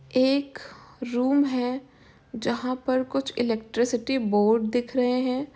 एक रूम है जहा पर कुछ इलेक्ट्रिसिटी बोर्ड दिख रहे हैं।